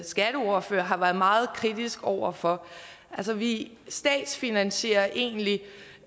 skatteordfører har været meget kritisk over for altså vi statsfinansierer egentlig